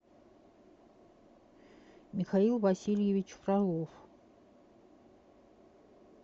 михаил васильевич фролов